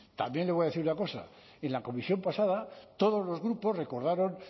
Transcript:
también le voy a decir una cosa en la comisión pasada todos los grupos recordaron